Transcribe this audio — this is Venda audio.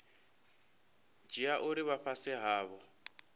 dzhia uri vha fhasi havho